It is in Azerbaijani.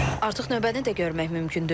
Artıq növbəni də görmək mümkündür.